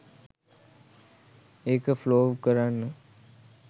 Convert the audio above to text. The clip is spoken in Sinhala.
ඒක ෆලොව් කරන්න